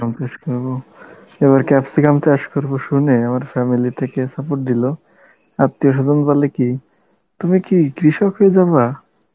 চাষ করবো, এবার ক্যাপসিকাম চাষ করবো শুনে আমার family থেকে support দিল, আত্মীয়-স্বজন বলে কি, তুমি কি কৃষক হয়ে যাবা?